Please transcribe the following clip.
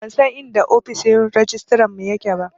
Ban san inda ofishin rajistarar mu ya ke ba